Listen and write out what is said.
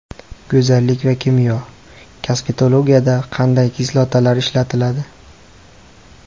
Go‘zallik va kimyo: kosmetologiyada qanday kislotalar ishlatiladi?.